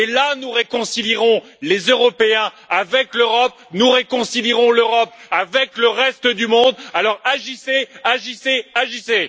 Et là, nous réconcilierons les Européens avec l'Europe et nous réconcilierons l'Europe avec le reste du monde. Alors, agissez, agissez, agissez!